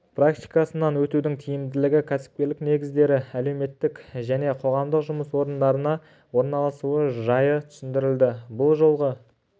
практикасынан өтудің тиімділігі кәсіпкерлік негіздері әлеуметтік және қоғамдық жұмыс орындарына орналасу жайы түсіндірілді бұл жолғы